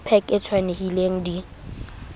ke pac e tshwanelehileng di